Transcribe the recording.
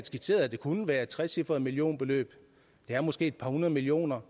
skitseret at det kunne være et trecifret millionbeløb det er måske et par hundrede millioner